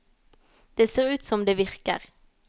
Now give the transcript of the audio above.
Det ser ut som om det virker.